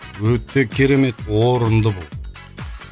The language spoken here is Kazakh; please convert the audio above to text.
өте керемет орынды бұл